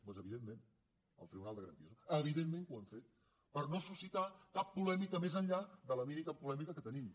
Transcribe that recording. doncs evidentment el tribunal de garanties eh evidentment que ho hem fet per no suscitar cap polèmica més enllà de la mínima polèmica que tenim